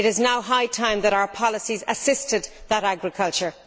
It is now high time that our policies assisted that agriculture.